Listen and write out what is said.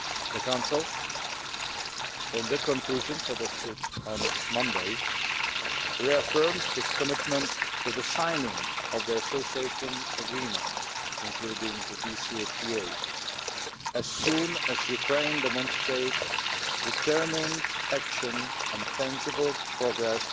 The Council, in the conclusions adopted on Monday, reaffirmed its commitment to the signing of the Association Agreement including the DCFTA as soon as Ukraine demonstrates determined action and tangible progress